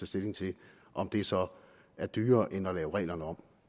stilling til om det så er dyrere end at lave reglerne om